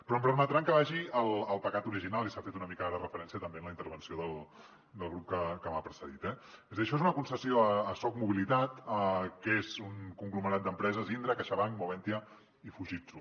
però em permetran que vagi el pecat original i s’hi ha fet una mica ara referència també en la intervenció del grup que m’ha precedit eh és a dir això és una concessió a socmobilitat que és un conglomerat d’empreses indra caixabank moventia i fujitsu